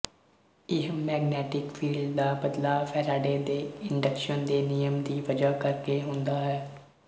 ਇਹ magnetic field ਦਾ ਬਦਲਾਅ ਫ਼ੈਰਾਡੇ ਦੇ ਇੰਡਕਸ਼ਨ ਦੇ ਨਿਯਮ ਦੀ ਵਜ੍ਹਾ ਕਰਕੇ ਹੁੰਦਾ ਹੈ